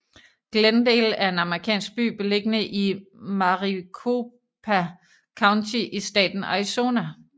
Glendale er en amerikansk by beliggende i Maricopa County i staten Arizona